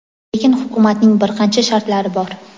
lekin hukumatning bir qancha shartlari bor.